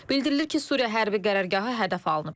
Bildirilir ki, Suriya hərbi qərargahı hədəf alınıb.